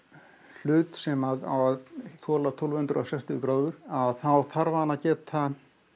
hlut sem á að þola tólf hundruð og sextíu gráður þá þarf hann að geta